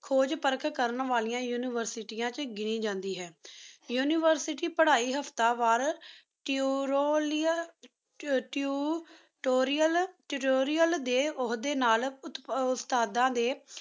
ਖੁਜ ਪਰਖ ਕਰਨ ਵਾਲ੍ਰਾਂ ਉਨਿਵੇਸ੍ਟਾਯਨ ਚ ਘਿਨੀ ਜਾਂਦੀ ਹੈਂ University ਪਢ਼ਾਈ ਹਫਤਾ ਵਾਰ Tutorial day ਤੁਰੇਆਲ ਤਾਤੁਰੇਆਲ ਡੀ ਹੁਦੀ ਨਾਲ ਉਸਤਾਦਾਂ ਡੀ